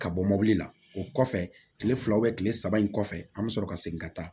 Ka bɔ mobili la o kɔfɛ kile fila kile saba in kɔfɛ an bɛ sɔrɔ ka segin ka taa